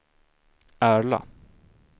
Ärla